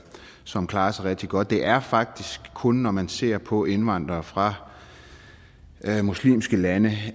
som klarer sig rigtig godt det er faktisk kun når man ser på indvandrere fra muslimske lande